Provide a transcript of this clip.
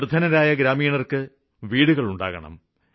നിര്ധനരായ ഗ്രാമീണര്ക്ക് വീടുകള് ഉണ്ടാക്കണം